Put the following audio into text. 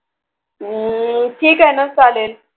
हम्म ठीक आहे चालेल